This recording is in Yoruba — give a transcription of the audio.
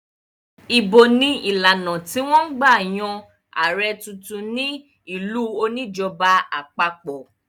Ìbò ni ìlànà tí wọ́n ń gbà yan ààrẹ̀ tuntun ní ìlú oníjọba àpapọ̀.